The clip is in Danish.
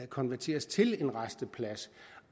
konverteres til en rasteplads